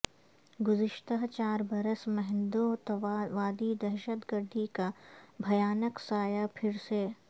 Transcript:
گذشتہ چار برس میںہندوتوا وادی دہشت گردی کا بھیانک سایہ پھر سے